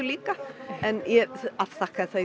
líka en ég afþakkaði það